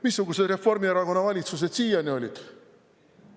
Missugused Reformierakonna valitsused siiani olid?